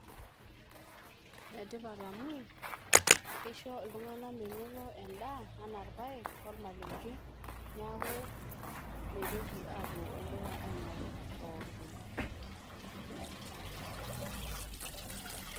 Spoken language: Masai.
ene tipat amu kisho iltunganak menoto endaa anaa irpaek ,ormalenge niaku mitoki apuo olduka aingoru pooki toki.